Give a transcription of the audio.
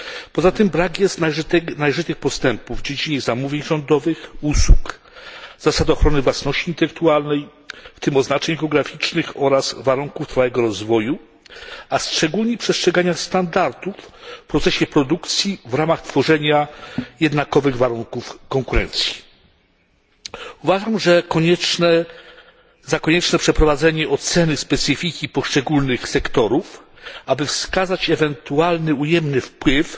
Poza tym brak jest należytych postępów w dziedzinie zamówień rządowych i usług, zasad ochrony własności intelektualnej, w tym oznaczeń geograficznych, oraz warunków trwałego rozwoju, a szczególnie przestrzegania standardów w procesie produkcji w ramach tworzenia jednakowych warunków konkurencji. Uważam za konieczne przeprowadzenie oceny specyfiki poszczególnych sektorów, aby wskazać ewentualny ujemny wpływ